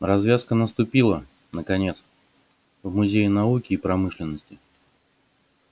развязка наступила наконец в музее науки и промышленности